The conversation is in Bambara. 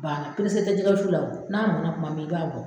Bana perese te jɛgɛ wusu la o n'a mɔna kuma min i ba bɔ